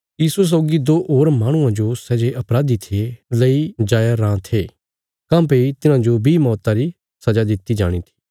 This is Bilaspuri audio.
यीशुये सौगी दो होर माहणुआं जो सै जे अपराधी थे लेई जाया राँ थे काँह्भई तिन्हाजो बी मौता री सजा दित्ति जाणी थी